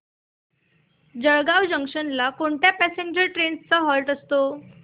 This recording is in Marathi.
जळगाव जंक्शन ला कोणत्या पॅसेंजर ट्रेन्स चा हॉल्ट असतो